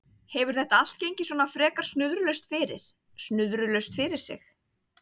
Hefur þetta allt gengið svona frekar snuðrulaust fyrir, snuðrulaust fyrir sig?